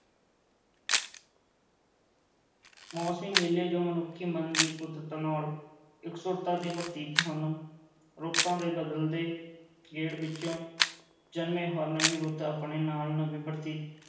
ਮੌਸਮੀ ਮੇਲੇ, ਜੋ ਮਨੁੱਖੀ ਮਨ ਦੀ ਕੁਦਰਤ ਨਾਲ ਇਕਸੁਰਤਾ ਦੇ ਪ੍ਰਤੀਕ ਹਨ, ਰੁੱਤਾਂ ਦੇ ਬਦਲਦੇ ਗੇੜ ਵਿੱਚੋਂ ਜਨਮੇ, ਹਰ ਨਵੀਂ ਰੁੱਤ ਆਪਣੇ ਨਾਲ ਨਵੇਂ